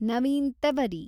Naveen Tewari